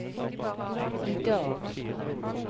idag